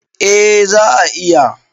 A za a iya